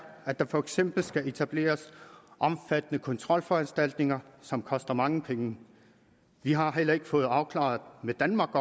at der for eksempel skal etableres omfattende kontrolforanstaltninger som koster mange penge vi har heller ikke fået afklaret med danmark